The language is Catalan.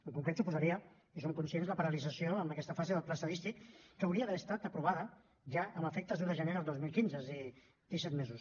en concret suposaria i en som conscients la paralització en aquesta fase del pla estadístic que hauria d’haver estat aprovat ja amb efectes d’un de gener del dos mil quinze és a dir disset mesos